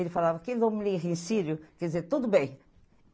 Ele falava, em sírio quer dizer tudo bem.